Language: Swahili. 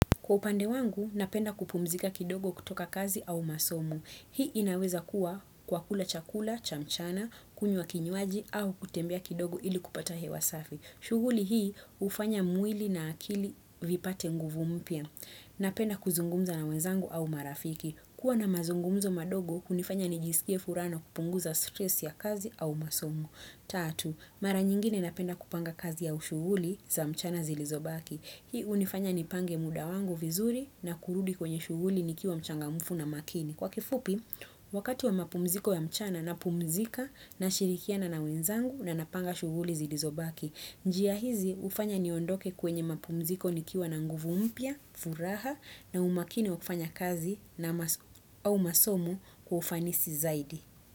Kwa upande wangu, napenda kupumzika kidogo kutoka kazi au masomo. Hii inaweza kuwa kwa kula chakula, cha mchana, kunywa kinywaji au kutembea kidogo ili kupata hewa safi. Shughuli hii hufanya mwili na akili vipate nguvu mpya. Napenda kuzungumza na wenzangu au marafiki. Kuwa na mazungumzo madogo, hunifanya nijisikie furaha na kupunguza stress ya kazi au masomo. Tatu, mara nyingine napenda kupanga kazi au shughuli za mchana zilizobaki. Hii hunifanya nipange muda wangu vizuri na kurudi kwenye shughuli nikiwa mchangamfu na makini. Kwa kifupi, wakati wa mapumziko ya mchana napumzika nashirikiana na wenzangu na napanga shughuli zilizobaki. Njia hizi hufanya niondoke kwenye mapumziko nikiwa na nguvu mpya, furaha na umakini wa kufanya kazi au masomo kwa ufanisi zaidi.